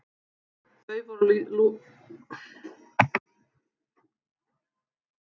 Þau voru unnin úr líkum afbrotamanna sem teknir höfðu verið af lífi.